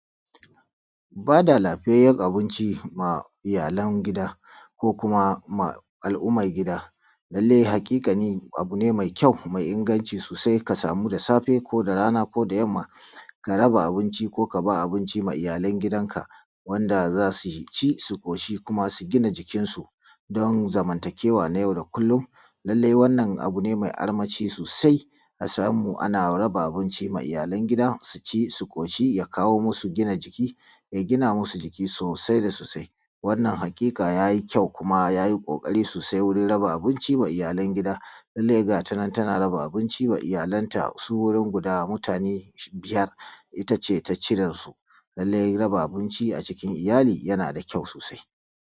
Ba da lafiyayen abinci ma iyalan gida ko kuma ma al’umma gida, lallai haƙiƙanin abu ne mai ƙyau mai inganci sosai ka samu da safe ko da rana ko da yamma Ka raba abinci ko ka ba ma abinci iyalan gidanka wanda za su ci su ƙoshi don su gina jikinsu don zamantakewa na yau da kullum. Lallai wannna abu ne mai armashi sosai a samu ana raba abinci ma iyalan gida su ci su ƙoshi ya kawo musu gina jiki, ya gina musu jiki sosai da sosai wannan haƙiƙa ja ji ƙjau kuma ja ji ƙokari soosai wuri raba abinci ma ijalan gidaː lallai ga ta tana raba abinci ma iyalanta su wurin guda mutane biyar ita ceː ta ci da su lallai raba abinci a cikin iyalai yana da ƙjau soosai